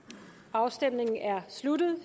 afstemningen er sluttet